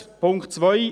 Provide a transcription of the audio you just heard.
Punkt 2